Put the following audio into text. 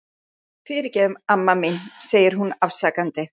Fyrirgefðu, amma mín, segir hún afsakandi.